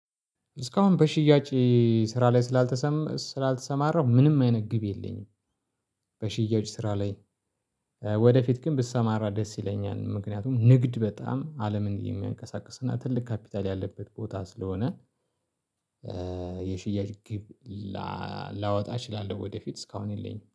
እስካሁን በሽያጭ ስራ ላይ ስላልተሰማረው ምንም አይነት ገቢ የለኝም። በሽያጭ ስራ ላይ ወደፊት ግን ብሰማራ ደስ ይለኛል ምክንያቱም ንግድ በጣም አለምን የሚያንቀሳቅስና ትልቅ ካፒታል ያለበት ቦታ ስለሆነ። የሽያጭ ግብ ላወጣ እችላለሁ። ወደፊት እስካሁን የለኝም